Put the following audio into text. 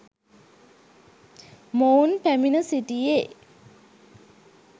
මොවුන් පැමිණ සිටියේ